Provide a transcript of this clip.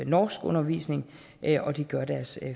norskundervisning og det gør deres